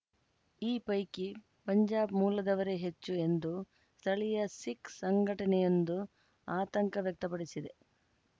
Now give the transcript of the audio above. ಈ ಪೈಕಿ ಪಂಜಾಬ್‌ ಮೂಲದವರೇ ಹೆಚ್ಚು ಎಂದು ಸ್ಥಳೀಯ ಸಿಖ್‌ ಸಂಘಟನೆಯೊಂದು ಆತಂಕ ವ್ಯಕ್ತಪಡಿಸಿದೆ